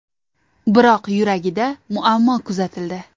Biroq yuragida muammo kuzatildi.